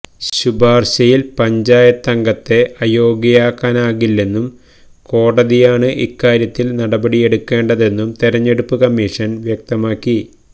ശുപാർശയിൽ പഞ്ചായത്തംഗത്തെ അയോഗ്യയാക്കാനാകില്ലെന്നും കോടതിയാണ് ഇക്കാര്യത്തിൽ നടപടിയെടുക്കേണ്ടതെന്നും തെരഞ്ഞെടുപ്പ് കമ്മീഷൻ വ്യക്തമാക്കി